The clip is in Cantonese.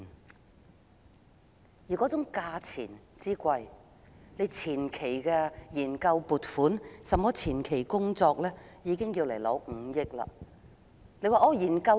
然而，人工島造價之高，單是前期的研究工作已要申請5億元撥款。